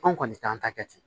Anw kɔni t'an ta kɛ ten